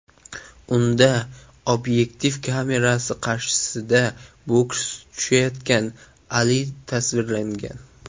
Unda obyektiv kamerasi qarshisida boks tushayotgan Ali tasvirlangan.